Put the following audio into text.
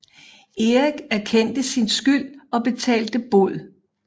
Erik erkendte sin skyld og betalte bod